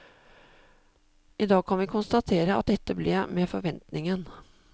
I dag kan vi konstatere at dette ble med forventningen.